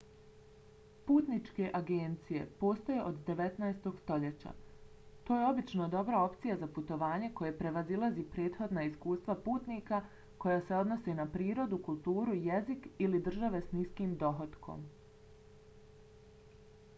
putničke agencije postoje od 19. stoljeća. to je obično dobra opcija za putovanje koje prevazilazi prethodna iskustva putnika koja se odnose na prirodu kulturu jezik ili države s niskim dohotkom